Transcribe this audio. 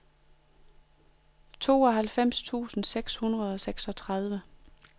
tooghalvfems tusind seks hundrede og seksogtredive